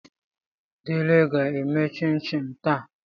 Diele ga-eme chin chin taa.